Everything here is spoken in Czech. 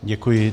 Děkuji.